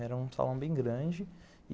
Era um salão bem grande e